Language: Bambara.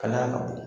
Kalaya ka bɔ